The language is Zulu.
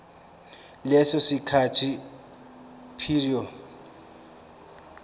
leso sikhathi prior